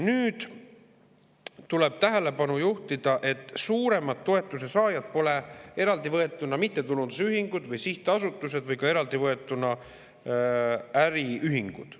Nüüd tuleb tähelepanu juhtida, et suuremad toetuse saajad pole eraldi võetuna mittetulundusühingud või sihtasutused ega ka äriühingud.